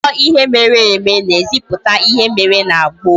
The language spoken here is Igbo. Akụkọ ihe mere eme na eziputa ihe mere na gboo